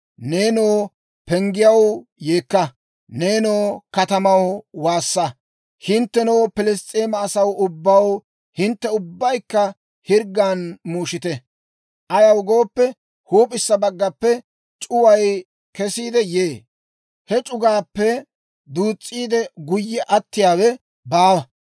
«Neenoo penggiyaw, yeekka! Neenoo katamaw, waassa! Hinttenoo Piliss's'eema asaw ubbaw, hintte ubbaykka hirggan muushite! Ayaw gooppe, huup'issa baggappe c'uway kesiide yee; he c'itaappe duus's'iide guyye attiyaawe baawa.